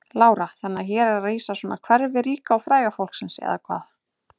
Lára: Þannig að hér er rísa svona hverfi ríka og fræga fólksins eða hvað?